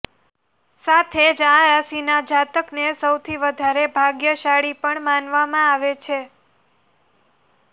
સાથે જ આ રાશિના જાતકને સૌથી વધારે ભાગ્યશાળી પણ માનવામાં આવે છે